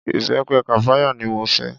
Ìbẹpẹ kàpáyà ni mo fẹ́.